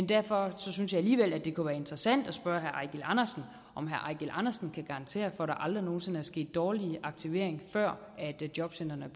derfor synes jeg alligevel at det kunne være interessant at spørge herre eigil andersen om herre eigil andersen kan garantere for at der aldrig nogen sinde skete dårlig aktivering før jobcentrene